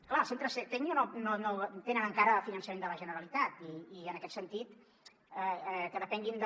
clar els centres tecnio no tenen encara finançament de la generalitat i en aquest sentit que depenguin de